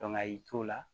a y'i to o la